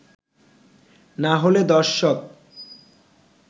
না হলে দর্শক